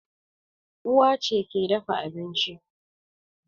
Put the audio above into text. Uwa ce ke dafa abinci